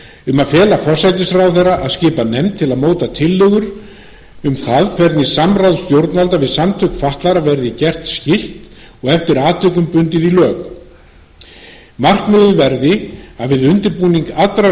um að fela forsætisráðherra að skipa nefnd til að móta tillögur um það hvernig samráð stjórnvalda við samtök fatlaðra verði gert skylt og eftir atvikum bundið í lög markmiðið verði að við undirbúning allrar